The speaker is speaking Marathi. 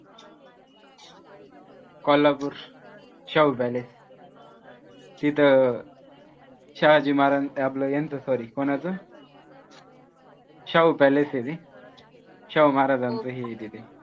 कोल्हापूर शाहू palace तिथं शहाजी महाराज्यांच आपलं ह्यांचं sorry कोणाचं शाहू palace आहे ते शाहूमहाराज्याच